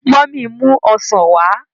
Mummy n mu ọsán wá.